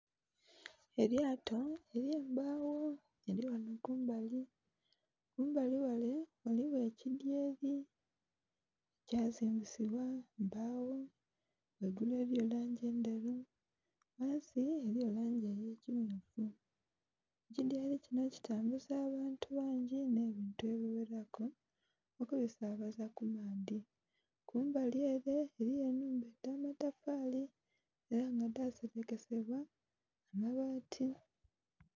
Elyato elye embagho lili ghanho kumbali, kumbali ghale ghaligho ekidhyeri kya zimbisibwa mbagho ghaigulu eriyo langi ndheru ghansi ghaligho langi eye kimyufu. Ekidhyeri kinho kitambuza abantu bangi nhe bintu ebigheraku okubisabaza ku maadhi. Kumbali ele eriyo enhumba dha matafali era nga dha serekesebwa mabati.